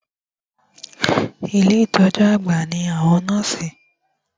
Ilé ìtọjú àgbà ní àwọn nọ́ọ̀sì.